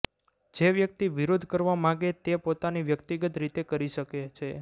જે વ્યક્તિ વિરોધ કરવા માગે તે પોતાની વ્યક્તિગત રીતે કરી શકે છે